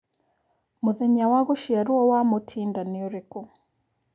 mũthenya wa gũciarwo wa Mutinda nĩ ũrĩkũ